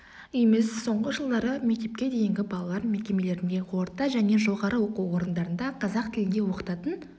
емес соңғы жылдары мектепке дейінгі балалар мекемелерінде орта және жоғары оқу орындарында қазақ тілінде оқытатын